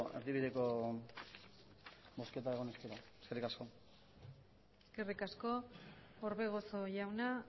erdibideko bozketa egon ezkero puntuka zertzea eskerrik asko eskerrik asko orbegozo jauna